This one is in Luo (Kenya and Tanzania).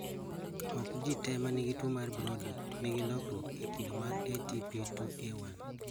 Ok ji te manigi tuo Brody nigi lokruok e kido mar ATP2A1